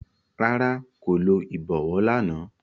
Rárá, ko lo ibọwọ làná